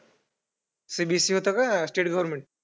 CBSE होतं का state government?